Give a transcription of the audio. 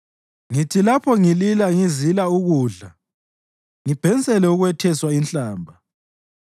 Ngithi lapho ngilila ngizila ukudla, ngibhensele ukwetheswa inhlamba;